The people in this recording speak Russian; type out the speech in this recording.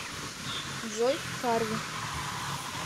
джой харви